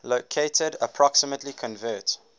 located approximately convert